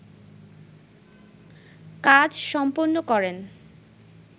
কাজ সম্পন্ন করেন